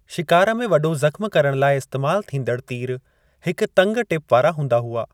शिकार में वॾो ज़ख़्मु करणु लाइ इस्तेमाल थींदड़ तीर हिकु तंगि टिपु वारा हूंदा हुआ।